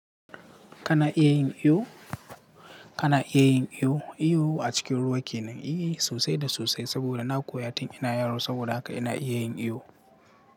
Kana iya yin iyo? Kana iya yin iyo? Iyo a cikin ruwa kenan, i sosai da sosai saboda na koya tun ina yaro saboda haka ina iya yin iyo.